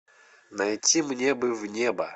найти мне бы в небо